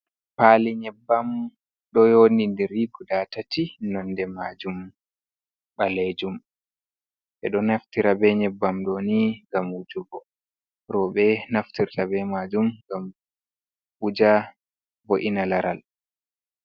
Paali nyebbam ɗo yodi diri guda tati nonde majum balejum, ɓe ɗo naftira be nyebbam doni ngam wujugo, rowbe naftirta be majum ngam wuja vo'ina laral.